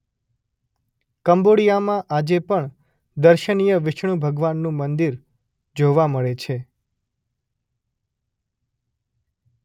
કંબોડિયામાં આજે પણ દર્શનીય વિષ્ણુ ભગવાનનું મંદિર જોવા મળે છે.